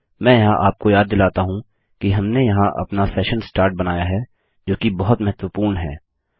मैं यहाँ आपको याद दिलाता हूँ कि हमने यहाँ अपना सेशन स्टार्ट बनाया है जो कि बहुत महत्वपूर्ण है